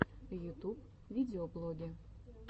ютуб видеоблоги